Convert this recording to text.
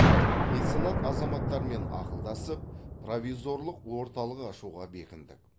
меценат азаматтармен ақылдасып провизорлық орталық ашуға бекіндік